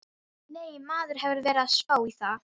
Nei, maður hefur verið að spá í það.